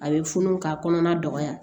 A bɛ funu ka kɔnɔna dɔgɔya